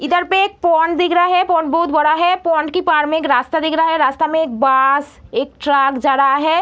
इधर पे एक पॉन्ड दिख रहा है। पॉन्ड बहुत बड़ा है। पॉन्ड की पार में एक रास्ता दिख रहा है। रास्ता में एक बास एक ट्राक जा रहा है।